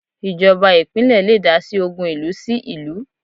Ìjọba ìpínlẹ̀ le dásí ogun ìlú sí ìlú